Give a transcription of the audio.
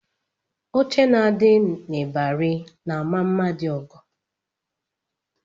Oche ndị na-adị n'ịbarị na-ama mma dị ọgọ